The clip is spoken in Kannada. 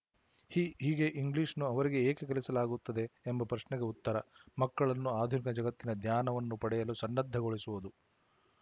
ಹಿ ಹೀಗೆ ಇಂಗ್ಲಿಶ್‌ನ್ನು ಅವರಿಗೆ ಏಕೆ ಕಲಿಸಲಾಗುತ್ತಿದೆ ಎಂಬ ಪ್ರಶ್ನೆಗೆ ಉತ್ತರ ಮಕ್ಕಳನ್ನು ಆಧುನಿಕ ಜಗತ್ತಿನ ಜ್ಞಾನವನ್ನು ಪಡೆಯಲು ಸನ್ನದ್ಧಗೊಳಿಸುವುದು